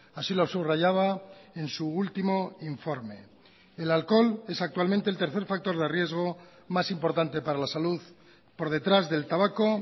así lo subrayaba en su último informe el alcohol es actualmente el tercer factor de riesgo más importante para la salud por detrás del tabaco